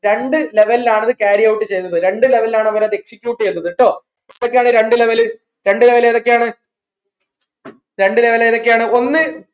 രണ്ട് level ൽ ആണ് ഇത് carryout ചെയ്തത് രണ്ട് level ൽ ആണ് ഇത് execute ചെയ്തത് ട്ടോ യാണ് രണ്ട് level രണ്ട് level ഏതൊക്കെയാണ് രണ്ട് level ഏതൊക്കെയാണ്